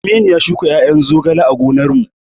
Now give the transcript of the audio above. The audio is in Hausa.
Aminu ya shuka ƴaƴan zogale a gonar mu